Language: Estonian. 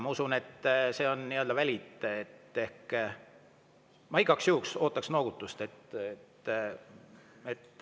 Ma usun, et see on nii-öelda valid, ma igaks juhuks ootaks noogutust.